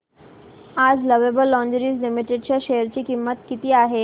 आज lovable lingerie limited च्या share ची किंमत किती आहे